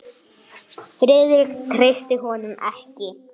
Krónan hafi styrkst svo mikið.